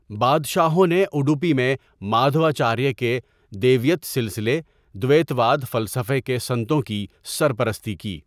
بادشاہوں نے اڈوپی میں مادھواچاریہ کے دیویت سلسلے دویتواد فلسفہ کے سنتوں کی سرپرستی کی.